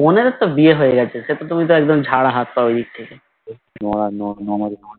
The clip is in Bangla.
বোনের ও তো বিয়ে হয়ে গেছে তো তুমি তো একদম ছাড়া হাত পাও এদিক থেকে